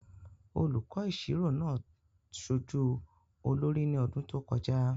Olùkọ́ ìṣirò náà ṣojú olórí ní ọdún tó kọjá.